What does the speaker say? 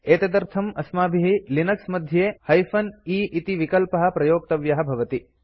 एतदर्थम् अस्माभिः लिनक्स मध्ये -e इति विकल्पः प्रयोक्तव्यः भवति